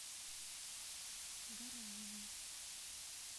гараеву